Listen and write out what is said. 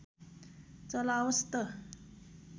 चलाओस् त